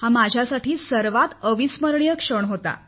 हा माझ्यासाठी सर्वात अविस्मरणीय क्षण होता